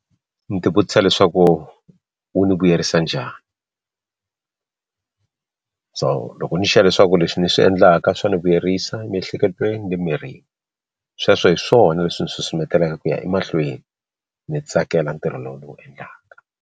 Ni ti vutisa leswaku wu ni vuyerisa njhani so loko ni ri sure leswaku leswi ni swi endlaka swa ni vuyerisa emiehleketweni le mirini sweswo hi swona leswi ni susumeteleka ku ya emahlweni ni tsakela ntirho lowu endlaka.